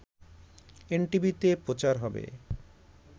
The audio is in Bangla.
এনটিভিতে প্রচার হবে